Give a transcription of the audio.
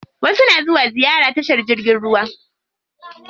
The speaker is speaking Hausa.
Wasu na zuwa ziyara tashar jirgin ruwa.